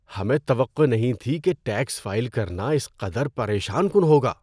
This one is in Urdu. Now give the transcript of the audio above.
ہمیں توقع نہیں تھی کہ ٹیکس فائل کرنا اس قدر پریشان کن ہوگا!